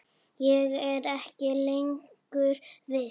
Ég er ekki lengur viss.